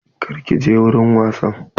Kar ki je wurin wasan!